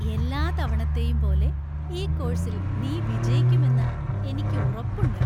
എല്ലാ തവണത്തേയും പോലെ ഈ കോഴ്സിൽ നീ വിജയിക്കുമെന്ന് എനിക്ക് ഉറപ്പുണ്ട്.